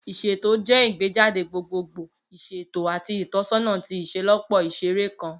Iṣeto jẹ igbejade gbogbogbo, iṣeto, ati itọsọna ti iṣelọpọ iṣere kan.